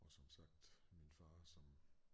Og som sagt min far som